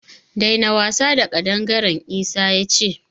Daina wasa da ƙadangaren! Isa ya ce.